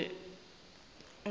gore go tla ba le